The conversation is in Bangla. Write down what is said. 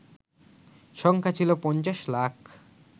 সংখ্যা ছিল ৫০ লাখ